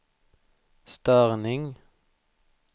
störning